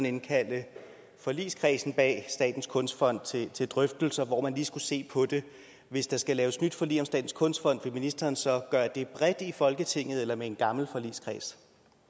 indkalde forligskredsen bag statens kunstfond til til drøftelser hvor man lige skulle se på det hvis der skal laves nyt forlig om statens kunstfond vil ministeren så gøre det bredt i folketinget eller med den gamle forligskreds